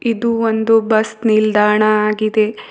ಇದು ಒಂದು ಬಸ್ ನಿಲ್ದಾಣ ಆಗಿದೆ.